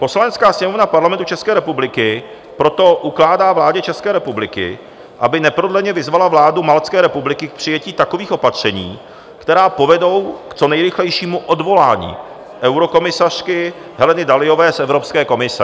Poslanecká sněmovna Parlamentu České republiky proto ukládá vládě České republiky, aby neprodleně vyzvala vládu Maltské republiky k přijetí takových opatření, která povedou k co nejrychlejšímu odvolání eurokomisařky Heleny Dalliové z Evropské komise.